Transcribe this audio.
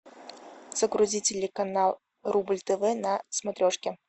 загрузи телеканал рубль тв на смотрешке